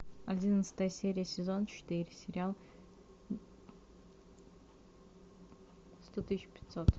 одиннадцатая серия сезон четыре сериал сто тысяч пятьсот